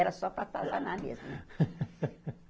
Era só para atazanar mesmo né.